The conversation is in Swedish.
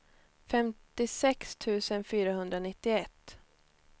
femtiosex tusen fyrahundranittioett